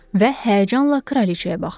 Və həyəcanla kraliçəyə baxdı.